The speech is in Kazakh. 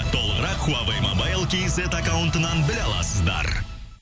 толығырақ хуавей мобайл кейзет аккаунтынан біле аласыздар